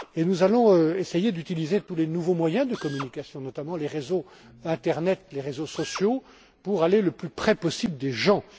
Nous allons essayer d'utiliser tous les nouveaux moyens de communication, notamment les réseaux internet, les réseaux sociaux pour aller le plus près possible des gens.